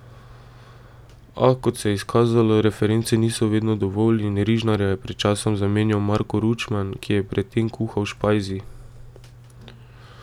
A, kot se je izkazalo, reference niso vedno dovolj in Rižnarja je pred časom zamenjal Marko Ručman, ki je pred tem kuhal v Špajzi.